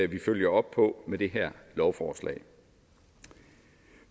vi følger op på med det her lovforslag